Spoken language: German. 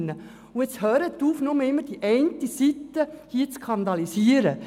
Und jetzt hören Sie auf, immer nur die eine Seite zu skandalisieren!